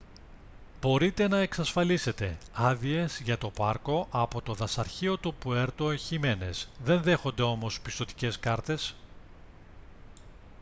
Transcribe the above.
μπορείτε να εξασφαλίσετε άδειες για το πάρκο από το δασαρχείο του puerto jiménez δεν δέχονται όμως πιστωτικές κάρτες